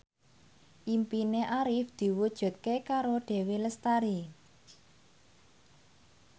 impine Arif diwujudke karo Dewi Lestari